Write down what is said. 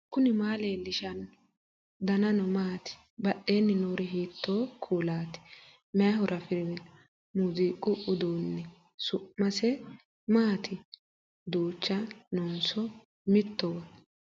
knuni maa leellishanno ? danano maati ? badheenni noori hiitto kuulaati ? mayi horo afirino ? muziiqu uduunneei su'mise maati duucha noonso mittowa